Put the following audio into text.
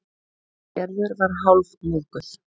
Gerður var hálfmóðguð.